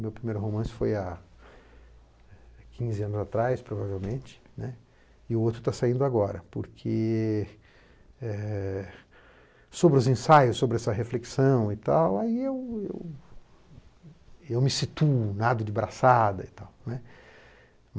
Meu primeiro romance foi há quinze anos atrás, provavelmente, e o outro está saindo agora, porque é sobre os ensaios, sobre essa reflexão, eu me situo, nado de braçada.